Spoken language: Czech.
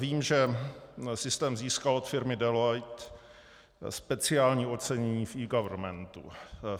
Vím, že systém získal od firmy Deloitte speciální ocenění v eGovernmentu.